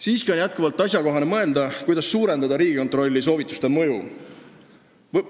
Siiski on endiselt asjakohane mõelda, kuidas suurendada Riigikontrolli soovituste mõju.